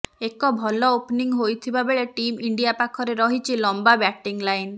ଏକ ଭଲ ଓପନିଂ ହୋଇଥିବା ବେଳେ ଟିମ୍ ଇଣ୍ଡିଆ ପାଖରେ ରହିଛି ଲମ୍ବା ବ୍ୟାଟିଂ ଲାଇନ୍